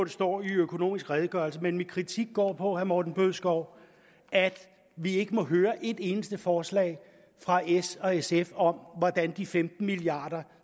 står i økonomisk redegørelse men min kritik går på herre morten bødskov at vi ikke må høre et eneste forslag fra s og sf om hvordan de femten milliard